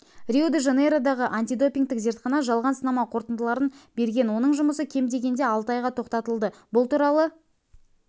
рио-де-жанейродағы антидопингтік зертхана жалған сынама қортындыларын берген оның жұмысы кем дегенде алты айға тоқтатылды бұл туралы